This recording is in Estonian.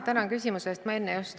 Tänan küsimuse eest!